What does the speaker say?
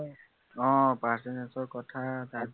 আহ percentage ৰ কথা তাত